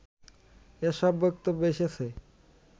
এসব বক্তব্য এসেছে